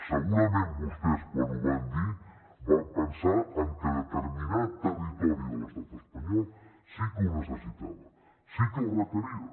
segurament vostès quan ho van dir van pensar en que determinat territori de l’estat espanyol sí que ho necessitava sí que ho requeria